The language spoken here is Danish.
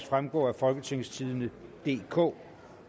fremgå af folketingstidende DK